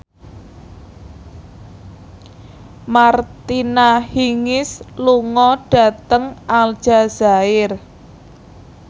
Martina Hingis lunga dhateng Aljazair